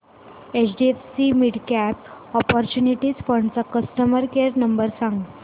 HDFC midcap opportunities fund चा customer care number सांग